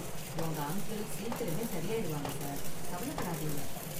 உங்க அங்கிள் சீக்கிரமே சரி ஆயிடுவாங்க, சார். கவலைப்படாதீங்க.